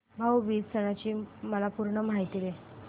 भाऊ बीज सणाची मला पूर्ण माहिती दे